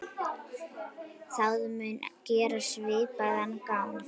Það mun gera svipað gagn.